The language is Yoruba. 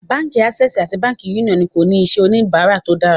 Bánkì Assè̀sì àti Bánkì Uniọnu ní kò ní iṣẹ̀ onibàrà tó dára.